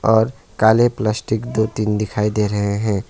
और काले प्लास्टिक दो तीन दिखाई दे रहे हैं।